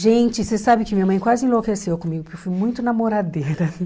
Gente, você sabe que minha mãe quase enlouqueceu comigo, porque eu fui muito namoradeira.